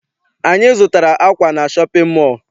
Anyị zụtara akwa na shọpịn mọọ.